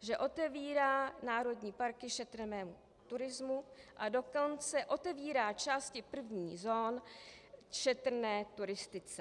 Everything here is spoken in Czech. že otevírá národní parky šetrnému turismu, a dokonce otevírá části prvních zón šetrné turistice.